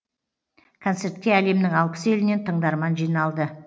концертке әлемнің алпыс елінен тыңдарман жиналды